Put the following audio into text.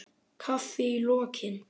Kaffi í lokin.